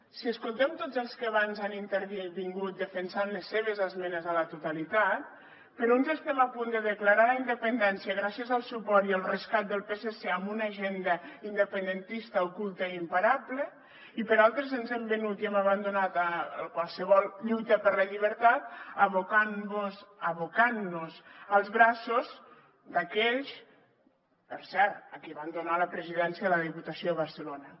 si escoltem tots els que abans han intervingut defensant les seves esmenes a la totalitat per uns estem a punt de declarar la independència gràcies al suport i al rescat del psc amb una agenda independentista oculta i imparable i per altres ens hem venut i hem abandonat qualsevol lluita per la llibertat abocant nos als braços d’aquells per cert a qui van donar la presidència de la diputació de barcelona